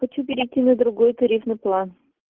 хочу перейти на другой тарифный план